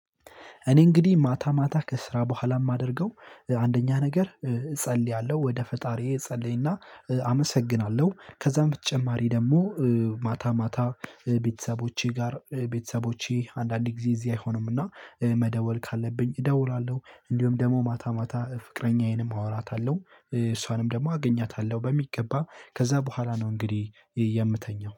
እኔ እንግዲህ ማታ ማታ ከስራ በኋላ የማደርገው አንደኛ ነገር እጸልያለው ወደ ፈጣሪዬ እጸልይና አመሰግናለው ከዛ በተጨማሪ ደግሞ። ማታ ማታ ቤተሰቦቼ ጋር ቤተሰቦቼ አንዳንዴ ጊዜ እዚህ አይሆኑምና መደወል ካለብኝ እደውላለው። እንዲሁም ደግሞ ማታ ማታ ፍቅረኛዬንም አወራታለው እሷንም ደግሞ አገኛታለው በሚገባ ከዛ በኋላ ነው። እንግዲህ የምተኛው